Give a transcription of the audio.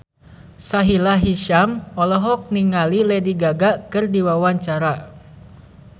Sahila Hisyam olohok ningali Lady Gaga keur diwawancara